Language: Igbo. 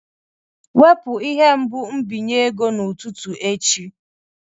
Wepu ihe mbụ nbinye ego n'ụtụtụ echi!